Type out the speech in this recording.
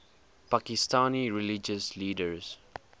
pakistani religious leaders